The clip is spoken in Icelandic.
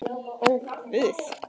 Ó, Guð!